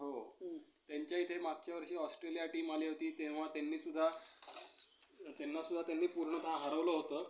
प्रांतातील लोकांना परस्परांच्या अं परस्परांच्या भाषा शिकाव्यात, चालीरीती समजून घ्याव्यात यासाठी आंतरभारतीचा प्रयोग करून